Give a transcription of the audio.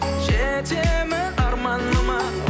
жетемін арманыма